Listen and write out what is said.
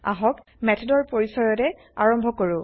আহক মেথডৰ পৰিছয়ৰে আৰম্ভ কৰো